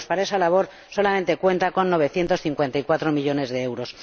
Para esa labor solamente cuenta con novecientos cincuenta y cuatro millones de euros.